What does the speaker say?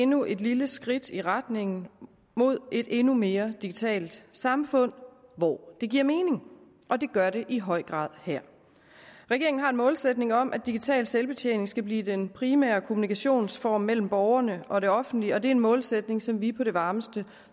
endnu et lille skridt i retning mod et endnu mere digitalt samfund hvor det giver mening og det gør det i høj grad her regeringen har en målsætning om at digital selvbetjening skal blive den primære kommunikationsform mellem borgerne og det offentlige og det er en målsætning som vi i på det varmeste